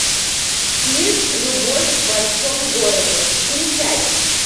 фильм любовь в большом городе включай